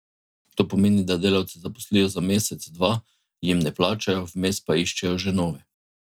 To pomeni, da delavce zaposlijo za mesec, dva, jim ne plačajo, vmes pa iščejo že nove.